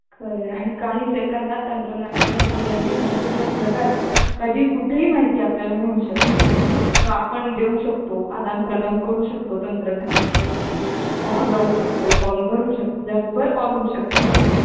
खर आहे आणि काही सेकंदात तंत्रज्ञानाच्या सहाय्याने संपूर्ण जगात कधी कुठेही माहिती आपल्याला मिळू शकते व आपण देऊ शकतो आदान प्रदान करू शकतो तंत्रज्ञानामुळे Call लावू शकतो Call बघू शकतो भराभर Call होऊ शकतात आपले